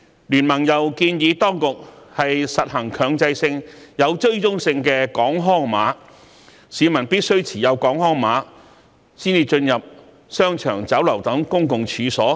經民聯建議當局實行強制性、有追蹤性的"港康碼"，規定市民必須持有"港康碼"才能進入商場、酒樓等公共場所。